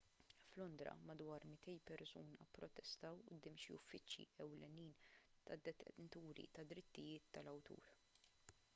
f'londra madwar 200 persuna pprotestaw quddiem xi uffiċċji ewlenin tad-detenturi tad-drittijiet tal-awtur